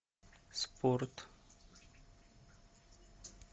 спорт